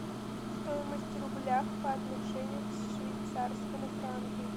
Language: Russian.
стоимость рубля по отношению к швейцарскому франку